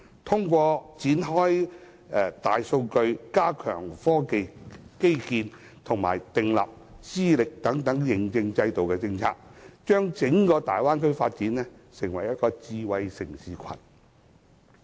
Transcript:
透過開展大數據、加強科技基建及訂立資歷認證制度等政策，把整個大灣區發展成為智慧城市群。